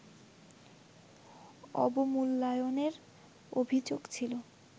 অবমূল্যায়নের অভিযোগ ছিল